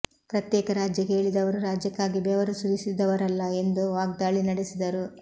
ಪ್ರತ್ಯೇಕ ರಾಜ್ಯ ಕೇಳಿದವರು ರಾಜ್ಯಕ್ಕಾಗಿ ಬೆವರು ಸುರಿಸಿದವರಲ್ಲ ಎಂದು ವಾಗ್ದಾಳಿ ನಡೆಸಿದರು